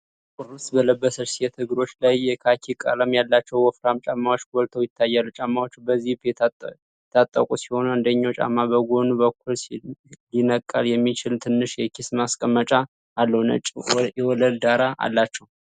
ጥቁር ልብስ በለበሰች ሴት እግሮች ላይ የካኪ ቀለም ያላቸው ወፍራም ጫማዎች ጎልተው ይታያሉ። ጫማዎቹ በዚፕ የታጠቁ ሲሆኑ፤ አንደኛው ጫማ በጎኑ በኩል ሊነቀል የሚችል ትንሽ የኪስ ማስቀመጫ አለው። ነጭ የወለል ዳራ አላቸው።